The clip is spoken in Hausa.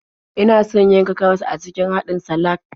Ina son yanka karas a cikin haɗin salak.